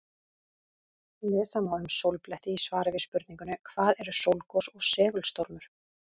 Lesa má um sólbletti í svari við spurningunni Hvað eru sólgos og segulstormur?